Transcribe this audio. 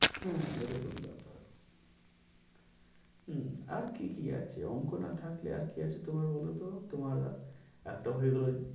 হ্যাঁ এরকম ব্যাপার হম আর কি কি আছে অঙ্ক না থাকলে আর কি আছে তোমার বলো তো? তোমার একটা হয়ে গেলো